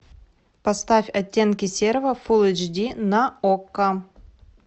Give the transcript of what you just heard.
поставь оттенки серого фул эйч ди на окко